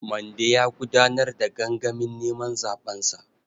Mande ya gudanar da gangamin neman zaɓensa.